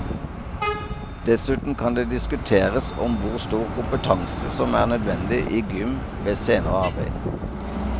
Dessuten kan det diskuteres om hvor stor kompetanse som er nødvendig i gym ved senere arbeid.